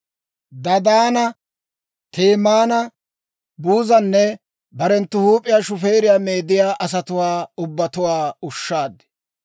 Dadaana, Temaana, Buuzanne barenttu huup'iyaa shufeeriyaa meediyaa asatuwaa ubbatuwaa ushshaad.